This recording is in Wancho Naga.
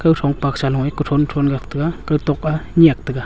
gathong paksa noi kuthonthon nyak tai ga gutok a nyak tai ga.